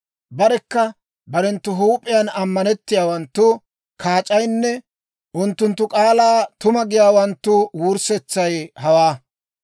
Barekka barenttu huup'iyaan ammanettiyaawanttu kaac'aynne unttunttu k'aalaa tuma giyaawanttu wurssetsay hawaa.